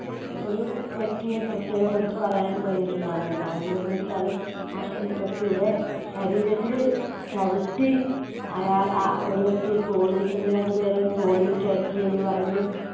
ഒരു വ്യക്തിയെ പ്രത്യേകം എടുത്തു പറയാൻ കഴിഞ്ഞിട്ടുണ്ട് അന്ന് അത് എന്താ വെച്ചാൽ ആ സ വ്യക്തിയുടെ ശരീരത്തിലു ചവിട്ടി അയാൾ അഹ് ഒരു വ്യക്തിയെ തോണി ഏർ ഒന്ന് രണ്ടു പേരെ തോണിയിൽ കയറ്റി എന്ന് പറഞ്ഞു